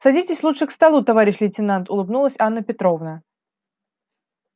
садитесь лучше к столу товарищ лейтенант улыбнулась анна петровна